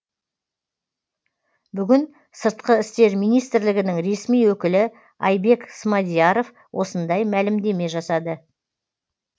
бүгін сыртқы істер министрілгінің ресми өкілі айбек смадияров осындай мәлімдеме жасады